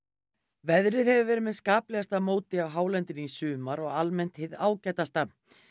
veðrið hefur verið með móti á hálendinu í sumar og almennt hið ágætasta